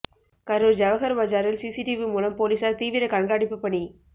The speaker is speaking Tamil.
கரூர் ஜவகர் பஜாரில் சிசி டிவி மூலம் போலீசார் தீவிர கண்காணிப்பு பணி